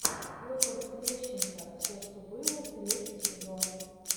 петр лещенко все что было третий сезон